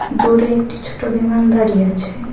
দূরে একটি ছোট বিমান দাঁড়িয়ে আছে।